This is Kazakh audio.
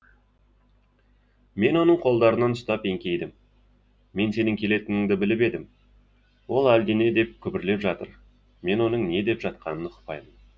мен оның қолдарынан ұстап еңкейдім мен сенің келетініңді біліп едім ол әлдене деп күбірлеп жатыр мен оның не деп жатқанын ұқпаймын